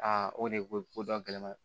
Aa o de ko dɔn gɛlɛn ma